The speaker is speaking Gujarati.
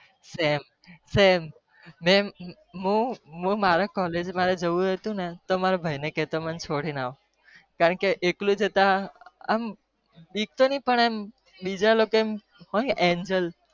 સેમ મારા કોલજ એકલું જતાં બીજા લોકો aenjal સેમ આમ